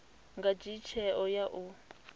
nga dzhia tsheo ya u